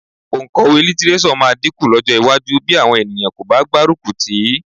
Òǹkọ̀wé lítíréṣọ̀ máa dínkù lọ́jọ́ iwájú bí àwọn ènìyàn kò bá gbárùkù tì í